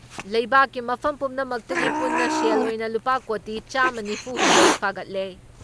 ꯂꯩꯕꯥꯛꯀꯤ ꯃꯐꯝ ꯄꯨꯝꯅꯃꯛꯇꯒꯤ ꯄꯨꯟꯅ ꯁꯦꯜ ꯑꯣꯏꯅ ꯂꯨꯄꯥ ꯀꯣꯇꯤ ꯆꯥꯃ ꯅꯤꯐꯨ ꯍꯨꯝꯗꯣꯏ ꯐꯥꯒꯠꯂꯦ ꯫